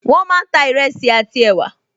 Wọ́n máa ń ta ìrẹsì àti ẹ̀wà